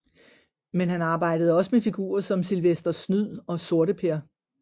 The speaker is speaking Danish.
Men han arbejdede også med figurer som Sylvester Snyd og Sorteper